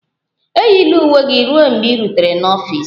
Eyila uwe gị ruo mgbe ị rutere n'ọfịs!